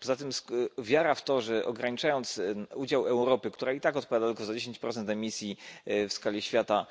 Poza tym wiara w to, że ograniczając udział Europy, która i tak odpowiada tylko za 10 emisji w skali świata,